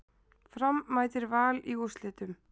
Fram mætir Val í úrslitum